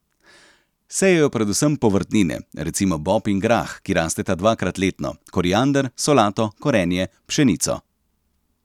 Sejejo predvsem povrtnine, recimo bob in grah, ki rasteta dvakrat letno, koriander, solato, korenje, pšenico.